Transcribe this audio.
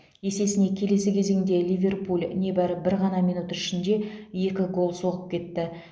есесіне келесі кезеңде ливерпуль небәрі бір ғана минут ішінде екі гол соғып кетті